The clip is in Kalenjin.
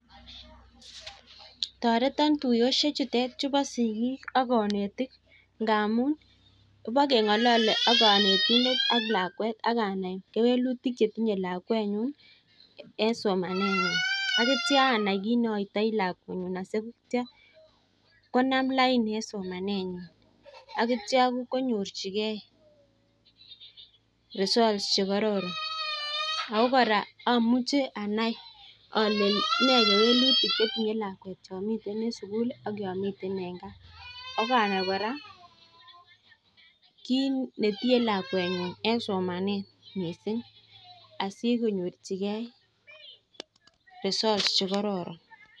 Toreton tuiyosiek chutet chubo sigik ak konetik ngmun ibokeng'olole ak konetindet ak lakwet ak anai kewelutik che tinye lakwenyun en somanenyin, ak kityo anai kit ne oitoi lakwenyun asikityo konam lain en somanenyun. Ak kityo konyorjige results che kororon ago kora amuche anai ole ne kewelutik che tinye lakwet yon miten en sugul ak yon miten en gaa ak anai kora kit ne tiiye lakwenyun en somane mising asikonyorjige results chekororon.